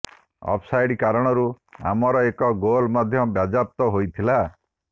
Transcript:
of side କାରଣରୁ ଆମର ଏକ ଗୋଲ୍ ମଧ୍ୟ ବାଜ୍ୟାପ୍ତ ହୋଇଥିଲା